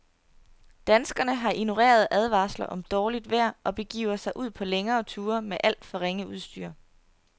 Danskerne har ignoreret advarsler om dårligt vejr og begivet sig ud på længere ture med alt for ringe udstyr.